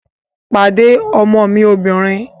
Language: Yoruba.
Pàdé ọmọ mi obìnrin!